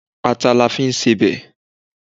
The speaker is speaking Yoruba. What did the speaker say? Ata ni a fi n sebẹ̀